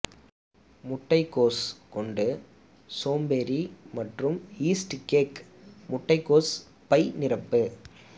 முட்டைக்கோஸ் கொண்டு சோம்பேறி மற்றும் ஈஸ்ட் கேக் முட்டைக்கோஸ் பை நிரப்பு